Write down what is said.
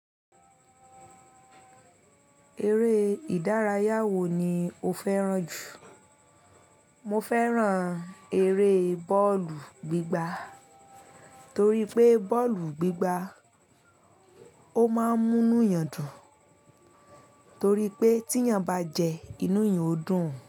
Eré ìdárayá wo ni o fẹ́ràn jù? Mo fẹ́ràn eré bọ́ọ̀lù gbígbá torí pé bọ́ọ̀lù gbígbá, ó máa ń múni yàn dùn. Torí pé tí èyàn bá jẹ inú èyàn ó dùn.